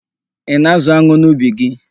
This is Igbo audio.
Ị na-ázụ̀ an̄ụ n'ubi gị?